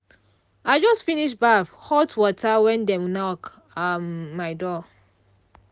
i just finish baff hot water when dem knock um my door.